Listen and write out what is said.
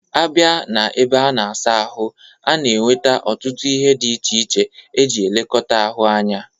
A bia na ebe a na-asa ahụ, a na-enwete ọtụtụ ihe dị iche iche e ji elekọta ahụ anya.